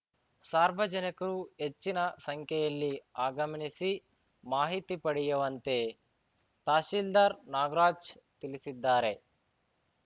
ಸಾರ್ವಜನಿಕರು ಹೆಚ್ಚಿನ ಸಂಖ್ಯೆಯಲ್ಲಿ ಆಗಮಿನಿಸಿ ಮಾಹಿತಿ ಪಡೆಯುವಂತೆ ತಹಶೀಲ್ದಾರ್‌ ನಾಗರಾಜ್‌ ತಿಳಿಸಿದ್ದಾರೆ